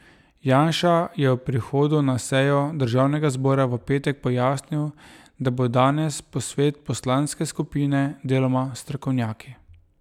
Janša je ob prihodu na sejo državnega zbora v petek pojasnil, da bo danes posvet poslanske skupine, deloma s strokovnjaki.